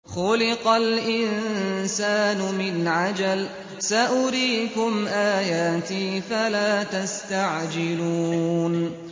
خُلِقَ الْإِنسَانُ مِنْ عَجَلٍ ۚ سَأُرِيكُمْ آيَاتِي فَلَا تَسْتَعْجِلُونِ